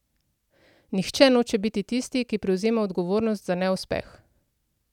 Nihče noče biti tisti, ki prevzema odgovornost za neuspeh.